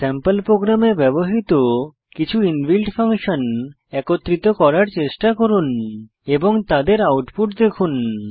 sample প্রোগ্রামে ব্যবহৃত কিছু ইনবিল্ট ফাংশন একত্রিত করার চেষ্টা করুন এবং তাদের আউটপুট দেখুন